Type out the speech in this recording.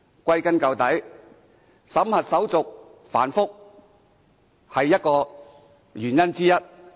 歸根究底，審核手續繁複是原因之一。